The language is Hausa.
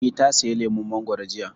Eh, ta saya lemun mangoro jiya